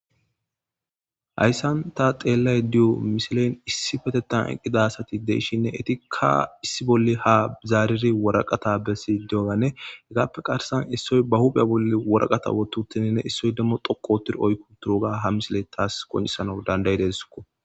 hayssan ta xeellay diyo misilen issi petetan eqqida asati deishinne etikka issi bolle ha zaariri woraqata besi deyoganne hegaappe qarsan issoy ba hubhe bolle woraqata wototininne issoy demmo doqootir oykko turoga ha misile taas qonisano dandayi desoko